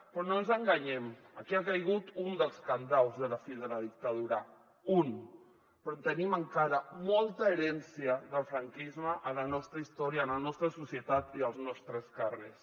però no ens enganyem aquí ha caigut un dels cadenats de la fi de la dictadura un però tenim encara molta herència del franquisme a la nostra història a la nostra societat i als nostres carrers